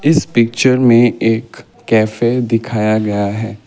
इस पिक्चर में एक कैफे दिखाया गया है।